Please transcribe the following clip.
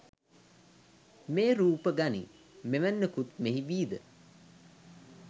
මේ රූප ගනී මෙවැන්නකුත් මෙහි වී ද!